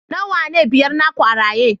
nawa ne biyar naku a raye